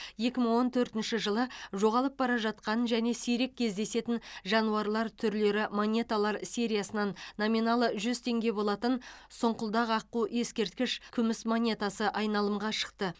екі мың он төртінші жылы жоғалып бара жатқан және сирек кездесетін жануарлар түрлері монеталар сериясынан номиналы жүз теңге болатын сұңқылдақ аққу ескерткіш күміс монетасы айналымға шықты